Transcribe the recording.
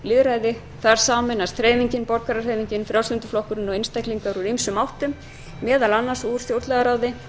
lýðræði þar sameinast hreyfingin borgarahreyfingin frjálslyndi flokkurinn og einstaklingar úr ýmsum áttum meðal annars úr stjórnlagaráði